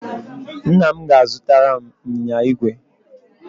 Nna m ga-azụtara m ịnyịnya igwe.